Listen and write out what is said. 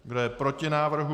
Kdo je proti návrhu?